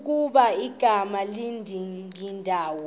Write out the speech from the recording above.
ukuba igama likadingindawo